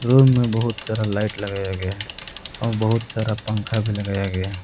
Room में बहुत सारा लाइट लगाया गया है और बहुत सारा पंखा भी लगाया गया है।